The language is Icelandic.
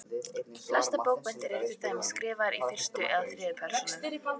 Flestar bókmenntir eru til dæmis skrifaðar í fyrstu eða þriðju persónu.